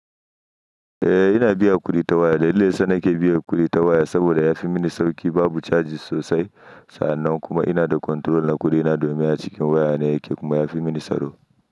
Eh ina biya kuɗi ta waya dalilin dayasa nake biyan kuɗi ta waya saboda yafi mini sauƙi babu cajis sosai sannan kuma ina da control na ƙuri na domin a cikin waya ne yake kuma yafi mini tsaro.